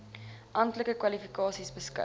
amptelike kwalifikasies beskik